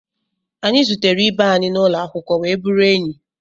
Anyị zutere ibe anyị n'ụlọ akwụkwọ wee bụrụ enyi